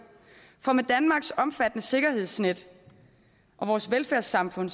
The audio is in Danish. for med danmarks omfattende sikkerhedsnet og vores velfærdssamfund